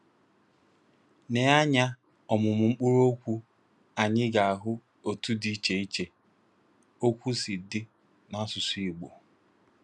N’aya ọmụmụ mkpụrụ okwu anyị ga-ahụ otu ụdị dị iche iche okwu si dị n’asụsụ Igbo.